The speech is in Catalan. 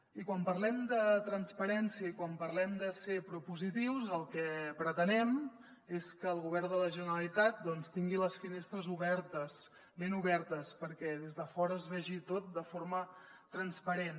i quan parlem de transparència i quan parlem de ser propositius el que pretenem és que el govern de la generalitat doncs tingui les finestres obertes ben obertes perquè des de fora es vegi tot de forma transparent